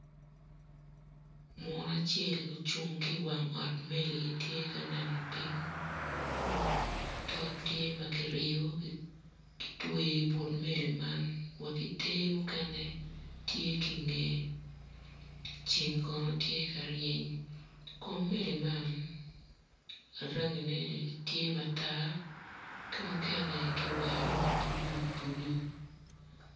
Muno acel ocung ki i wang ot pa meli tye ka neno piny tol tye ma kiriyo kitweyo i but meli man ki ter mukene tye ki i ngeye ceng kono tye ka reny meli man mukene rangine tye matar mukene tye ma bulubulu.